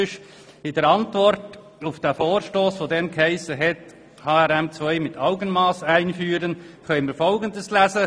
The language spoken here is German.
In der Antwort auf den Vorstoss mit dem Titel «HRM2 mit Augenmass einführen» können wir folgendes lesen: